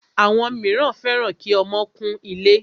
Àwọn míràn fẹ́ràn kí ọmọ kún ilé.